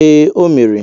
Ee, o mere.